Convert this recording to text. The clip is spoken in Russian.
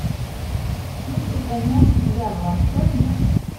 фильм изгоняющий дьявола открой мне